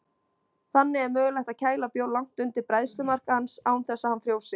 Þannig er mögulegt að kæla bjór langt undir bræðslumark hans án þess að hann frjósi.